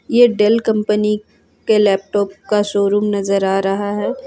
यह Dell company के showroom नजर आ रहा है।